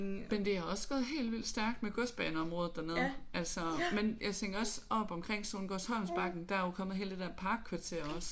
Men det har også gået helt vildt stærkt med Godsbaneområdet dernede altså men jeg tænker også oppe omkring Sohngårdsholmsbakken der er jo kommet hele det der parkkvarter også